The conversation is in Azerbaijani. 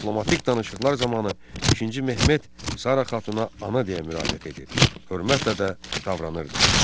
Diplomatik danışıqlar zamanı İkinci Mehmet Sara xatuna ana deyə müraciət edir, hörmətlə də davranırdı.